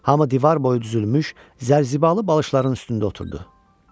Hamı divar boyu düzülmüş zərzibalı balışların üstündə oturdu.